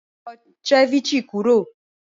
Sọ̀ cẹ̀víchẹ̀ kúrọ́